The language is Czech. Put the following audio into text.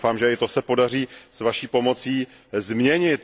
Tak doufám, že i to se podaří s Vaší pomocí změnit.